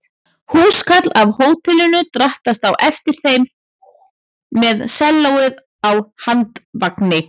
Húskarl af hótelinu drattaðist á eftir þeim með sellóið á handvagni.